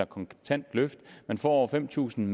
kontant løft man får fem tusind